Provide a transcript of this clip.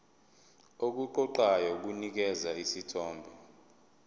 okuqoqayo kunikeza isithombe